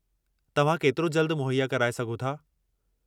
तव्हां केतिरो जल्द मुहैया कराए सघो था?